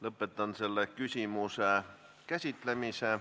Lõpetan selle küsimuse käsitlemise.